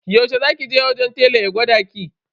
Yaushe za ki je wajen telan ya gwada ki?